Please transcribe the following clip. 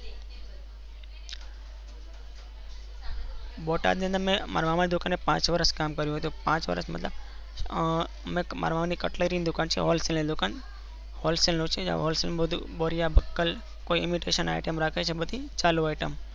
બોટાદ ની અંદર મેં મારા મામા ના છોકરાની સાથે પાંચ વર્ષ કામ કર્યું હતું. મતલબ મારા મામા ની કટલરી ની દુકાન છે Hollsell ની દુકાન Hollsell માં બધું બોરિયા બક્કલ બધી ચાલી iteam રાખે છે.